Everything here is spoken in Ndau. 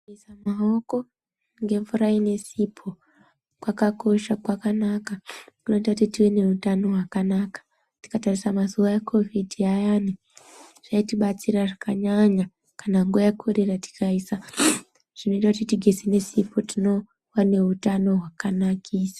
Kugeza maoko ngemvura inesipo ,kwakosha kwakanaka ,kunoite kuti tive nehutano hwakanaka. Tikatarisa mazuva ekovhidi ayane ,zvaitibatsira zvakanyanya ,kana nguva yekorera. Kana tikaisa zvinoite tigeze nesipo tinova neutano hwakanaiksa.